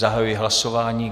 Zahajuji hlasování.